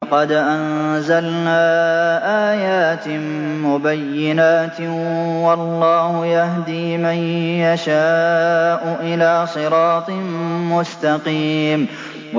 لَّقَدْ أَنزَلْنَا آيَاتٍ مُّبَيِّنَاتٍ ۚ وَاللَّهُ يَهْدِي مَن يَشَاءُ إِلَىٰ صِرَاطٍ مُّسْتَقِيمٍ